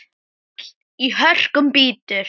Hagl í hörkum bítur.